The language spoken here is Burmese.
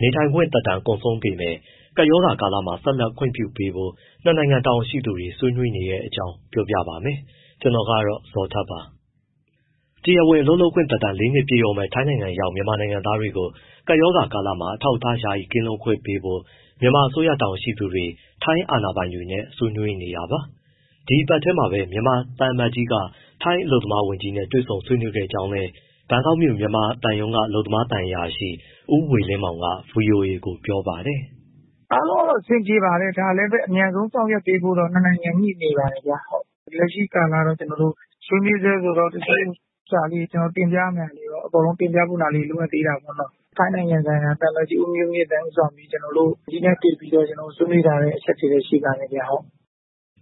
နေထိုင်ခွင့် သက်တမ်း ကုန်ဆုံးပေမဲ့ ကပ်ရောဂါကာလမှာ ဆက်လက်ခွင့်ပြုပေးဖို့ ၂ နိုင်ငံ တာဝန်ရှိသူတွေ ဆွေးနွေးနေတဲ့အကြောင်း ပြောပြပါမယ်။ ဗွီအိုအေမြန်မာပိုင်းသတင်းထောက် ကိုဇော်ထက်က သတင်းပေးပို့ထားပါတယ်။ တရားဝင် အလုပ်လုပ်ခွင့်သက်တမ်း ၄ နှစ်ပြည့်တော့မယ့် ထိုင်းနိုင်ငံရောက် မြန်မာလုပ်သားတွေကို ကပ်ရောဂါကာလမှာ အထောက်အထား ယာယီကင်းလွတ်ခွင့်ပေးဖို့ မြန်မာအစိုးရ တာဝန်ရှိသူတွေ ထိုင်းအာဏာပိုင်တွေနဲ့ ဆွေးနွေးနေတာပါ။ ဒီတပတ်ထဲမှာပဲ မြန်မာသံအမတ်ကြီးက ထိုင်းအလုပ်သမားဝန်ကြီးနဲ့ တွေ့ဆုံဆွေးနွေးခဲ့ကြောင်းလည်း ဘန်ကောက်မြို့ မြန်မာသံရုံးက အလုပ်သမားသံအရာရှိ ဦးဝေလင်းမောင်က ဗွီအိုအေကို ပြောပါတယ်။ “အားလုံးတော့ အဆင်ပြေပါတယ် ဒါတော့ အမြန်ဆုံး ဆောင်ရွက်ပေးဖို့ နှစ်နိုင်ငံ ညှိနေပါတယ်ဗျ။ လက်ရှိကာလတော့ ကျနော်တို့ ဆွေးနွေးဆဲဆိုတော့ တချို့ ဟာလေးတွေ တင်ပြရမယ့် ဟာလေးတွေ လိုအပ်သေးတာပေါ့။ ထိုင်းနိုင်ငံဆိုင်ရာ သံအမတ်ကြီး ဦးမျိုးမြင့်သန်း ဦးဆောင်ပြီး ကျနော်တို့ ဝန်ကြီးနဲ့တွေ့ပြီးတော့ ဆွေးနွေးထားတဲ့ အချက်တွေတော့ ရှိပါတယ်။”